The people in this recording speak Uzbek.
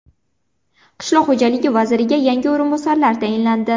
Qishloq xo‘jaligi vaziriga yangi o‘rinbosarlar tayinlandi.